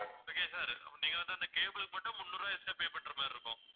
okay வா sir அப்போ நீங்க வந்து அந்த cable க்கு மட்டும் முந்நூறு ரூபா extra pay பண்ற மாதிரி இருக்கும்